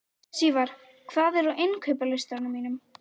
Sívar, hvað er á innkaupalistanum mínum?